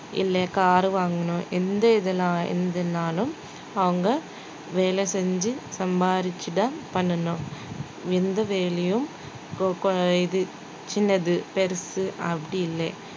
இல்ல car வாங்கணும் எந்த இதெல்லாம் இதுனாலும் அவங்க வேலை செஞ்சு சம்பாரிச்சுதான் பண்ணணும் எந்த வேலையும் இது சின்னது பெருசு அப்படி இல்லே